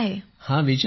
हं विचारा